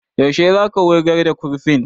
Yaushe za ka wurgar da kurfin?